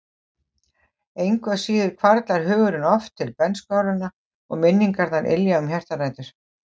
Engu að síður hvarflar hugurinn oft til bernskuáranna og minningarnar ylja um hjartarætur.